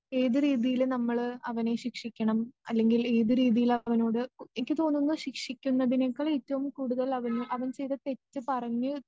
ഏത് രീതിയില് നമ്മള് അവനെ ശിക്ഷിക്കണം അല്ലെങ്കിൽ ഏത് രീതിയിലവനോട്‌ എനിക്ക് തോന്നുന്നത് ശിക്ഷിക്കുന്നതിനേക്കാൾ ഏറ്റവും കൂടുതലവനെ അവൻ ചെയ്ത തെറ്റ് പറഞ്ഞ്